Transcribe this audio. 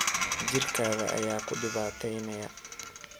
Jirkadha aya kudibateyneya.